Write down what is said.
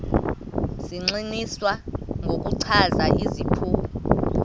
zigxininiswa ngokuchaza iziphumo